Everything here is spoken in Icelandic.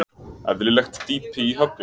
Eðlilegt dýpi í höfninni